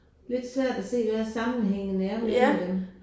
Lidt svært at se hvad sammenhængen er mellem dem